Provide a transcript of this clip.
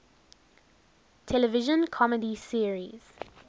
television comedy series